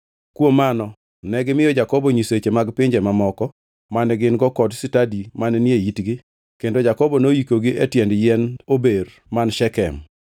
Kuom mano negimiyo Jakobo nyiseche mag pinje mamoko mane gin-go kod stadi mane ni e itgi kendo Jakobo noyikogi e tiend yiend ober man Shekem.